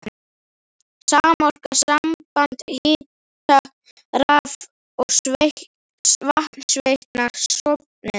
Samorka, samband hita-, raf- og vatnsveitna, stofnuð.